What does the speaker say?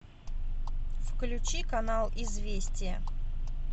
включи канал известия